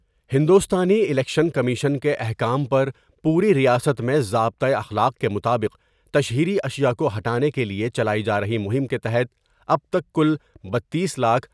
ہندوستانی election commission کے احکام پر پوری ریاست میں ضابطہ اخلاق کے مطابق تشہیری اشیاءکو ہٹانے کے لئے چلائی جارہی مہم کے تحت اب تک کل بتیس لاکھ۔